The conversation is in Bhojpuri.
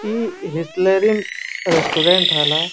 ई हिसलेरिम रेस्टोरेंट रहल ह।